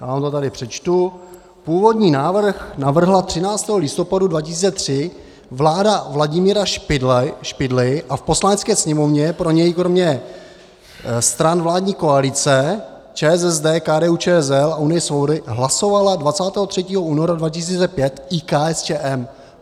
Já vám to tady přečtu: původní návrh navrhla 13. listopadu 2003 vláda Vladimíra Špidly a v Poslanecké sněmovně pro něj kromě stran vládní koalice, ČSSD, KDU-ČSL a Unie svobody, hlasovala 23. února 2005 i KSČM.